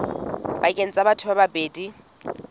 pakeng tsa batho ba babedi